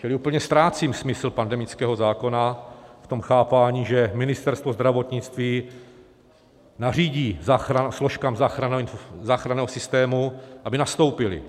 Čili úplně ztrácím smysl pandemického zákona v tom chápání, že Ministerstvo zdravotnictví nařídí složkám záchranného systému, aby nastoupily.